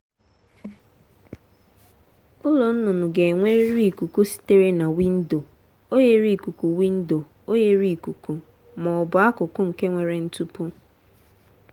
ụlọ nnụnụ ga-enwerịrị ikuku sitere na windo oghere ikuku windo oghere ikuku ma ọ bụ akụkụ nke nwere ntupu.